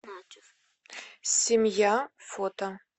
семья фото